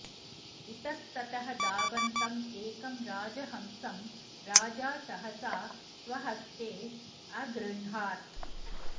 इतस्ततः धावन्तम् एकं राजहंसं राजा सहसा स्वहस्ते अगृह्णात्